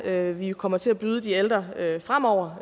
er vi kommer til at byde de ældre fremover